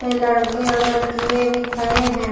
ये लड़के और लड़किये भी खड़े हैं।